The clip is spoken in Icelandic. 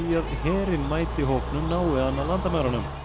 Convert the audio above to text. að herinn mæti hópnum nái hann að landamærunum